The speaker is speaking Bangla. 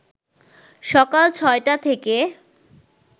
সকাল ৬টা থেকে